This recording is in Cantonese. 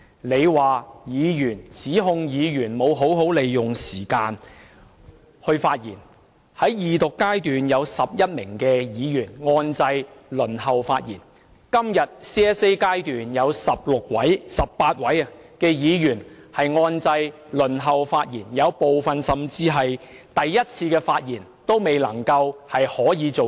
你指控議員沒有好好利用時間發言，其實有11位議員在二讀階段按掣輪候發言，今天也有18位議員在 CSA 階段按掣輪候發言，但部分議員甚至連首次發言的機會也沒有。